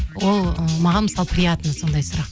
ол ы маған мысалы приятно сондай сұрақ